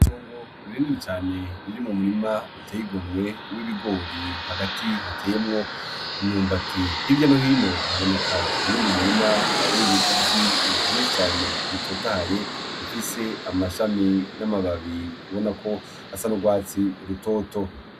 Itongo rinini cane ririmwo umurima uteye igomwe w'ibigori hagati hateyemwo imyumbati, hirya no hino haboneka uyundi murima w'ibigazi vyinshi cane bitotahaye bifise amashami n'amababi ubonako asa n'urwatsi rutoto.